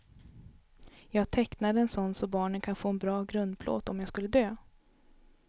Jag tecknade en sådan så barnen kan få en bra grundplåt om jag skulle dö.